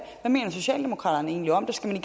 hvad mener socialdemokraterne egentlig om det skal